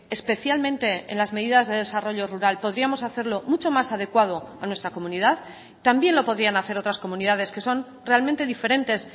especialmente en las medidas de desarrollo rural podríamos hacerlo mucho más adecuado a nuestra comunidad también lo podrían hacer otras comunidades que son realmente diferentes